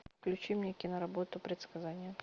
включи мне киноработу предсказание